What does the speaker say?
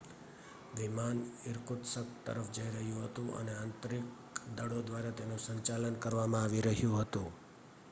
વિમાન ઇરકુત્સ્ક તરફ જઈ રહ્યું હતું અને આંતરિક દળો દ્વારા તેનું સંચાલન કરવામાં આવી રહ્યું હતું